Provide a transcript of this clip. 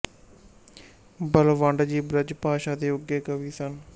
ਬਲਵੰਡ ਜੀ ਬ੍ਰਜ ਭਾਸ਼ਾ ਦੇ ਉੱਘੇ ਕਵੀ ਸਨ